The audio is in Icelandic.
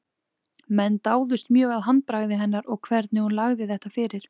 Menn dáðust mjög að handbragði hennar og hvernig hún lagði þetta fyrir.